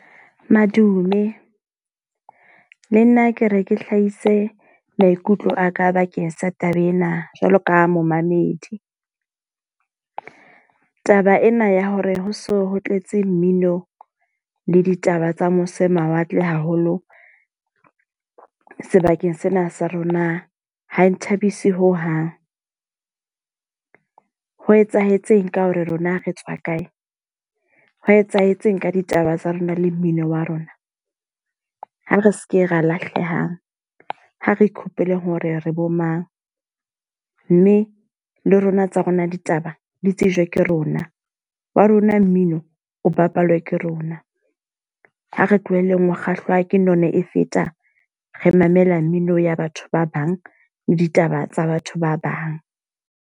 Madume, le nna ke re ke hlahise maikutlo aka bakeng sa taba ena, jwalo ka momamedi. Taba ena ya hore ho so ho tletse mmino le ditaba tsa mose mawatle haholo sebakeng sena sa rona ha e nthabise ho hang. Ho etsahetseng ka hore rona re tswa kae? Ho etsahetseng ka ditaba tsa rona le mmino wa rona? Ha re seke ra lahlehang, ha re ikhopole hore re bo mang. Mme le rona tsa rona ditaba, di tsejwe ke rona. Wa rona mmino o bapalwa ke rona. Ha re tlohelleng ho kgahlwa ke nona e feta. Re mamela mmino ya batho ba bang le ditaba tsa batho ba bang.